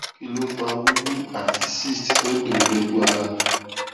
kí ló ń fa wuwu ati cyst to n dunni loju ara